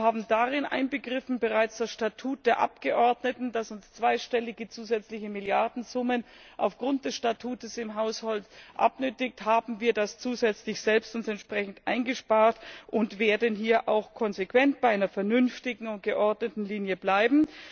Wir haben darin inbegriffen bereits das Statut der Abgeordneten Da dieses uns zweistellige zusätzliche Milliardensummen auf Grund des Statutes im Haushalt abnötigt, haben wir das zusätzlich selbst entsprechend eingespart und werden hier auch konsequent bei einer vernünftigen und geordneten Linie bleiben.